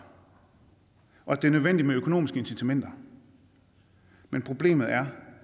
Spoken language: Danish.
og at det er nødvendigt med økonomiske incitamenter problemet er